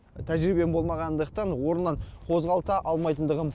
тәжірибем болмағандықтан орнынан қозғалта алмайтындығым ақиқат